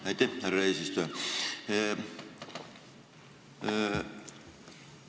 Aitäh, härra eesistuja!